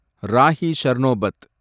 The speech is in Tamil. ராஹி சர்னோபத்